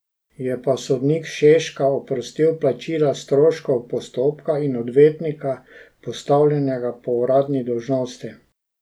Je pa sodnik Šeska oprostil plačila stroškov postopka in odvetnika, postavljenega po uradni dolžnosti.